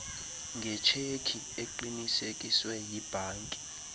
ngetshekhi eqinisekiswe yibhanki